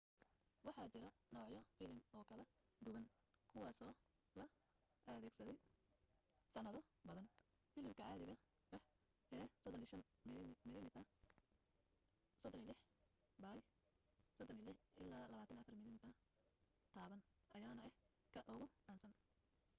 waxa jira noocyo filim oo kala duwan kuwaasoo la adeegsaday sannado badan. filimka caadiga ah ee 35 mm 36 by 24 mm taban ayaana ah ka ugu caansan